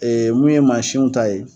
Ee mun ye mansiw ta ye